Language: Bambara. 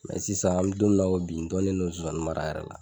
Mɛ sisan an bɛ don min na ko bi, n dɔnnen don zonzannin mara yɛrɛ la.